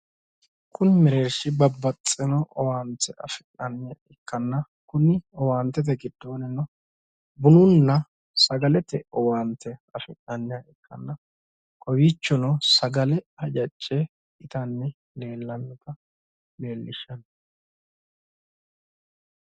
kuni mereershi babaxino owaante afi'naniha ikkanna kuni owaantete giddonino bununna sagalete owaante afi'naniha ikkanna kowiichono sagale hajacce itanni leellannoha leellishshanno.